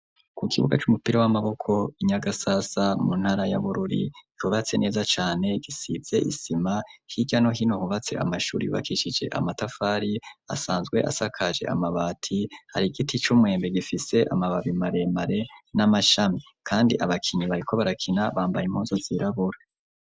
Ku kibuga, c'umupira w'amaboko, i Nyagasasa, mu ntara ya Bururi, cubatse neza cane, gisize isima; hirya no hino, hubatse amashuri, yubakishije amatafari, asanzwe asakaje, amabati; hari igiti c'umwembe, gifise amababi maremare, n'amashami; kandi abakinyi, bariko barakina; bambaye impunzu, zirabura.